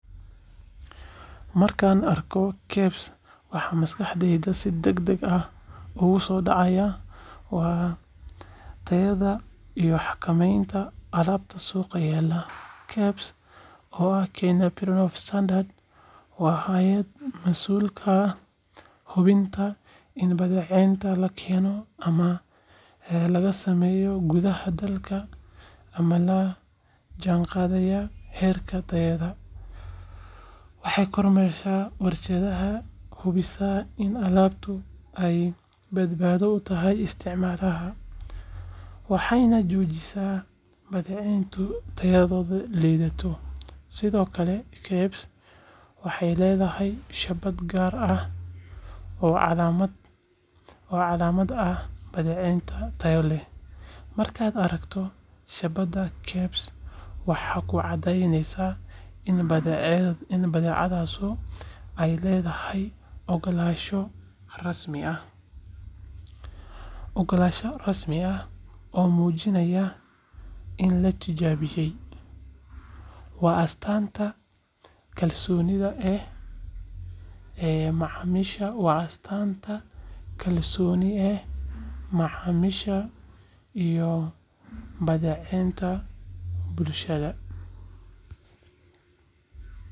Marka aan arko KEBS, waxa maskaxdayda si degdeg ah ugu soo dhacaya waa tayada iyo xakameynta alaabta suuqa yaalla. KEBS, oo ah Kenya Bureau of Standards, waa hay’ad mas’uul ka ah hubinta in badeecadaha la keeno ama laga sameeyo gudaha dalka ay la jaanqaadayaan heerarka tayada. Waxay kormeertaa warshadaha, hubisaa in alaabtu ay badbaado u tahay isticmaalaha, waxayna joojisaa badeecooyinka tayadoodu liidato. Sidoo kale, KEBS waxay leedahay shaabad gaar ah oo calaamad u ah badeecad tayo leh. Markaad aragto shaabadda KEBS, waxaa kuu cadaanaysa in badeecaddaasi ay leedahay oggolaansho rasmi ah oo muujinaya in la tijaabiyay. Waa astaanta kalsoonida ee macaamiisha iyo badbaadada bulshada.